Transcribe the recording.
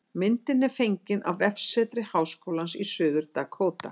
Myndin er fengin á vefsetri Háskólans í Suður-Dakóta